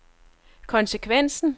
konsekvensen